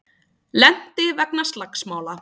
Lenti vegna slagsmála